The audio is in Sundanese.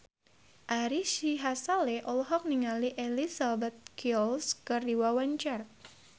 Ari Sihasale olohok ningali Elizabeth Gillies keur diwawancara